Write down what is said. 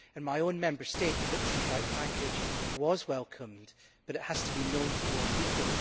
In my own Member State, the Victims' Rights Package was welcomed, but it has to be known to more people.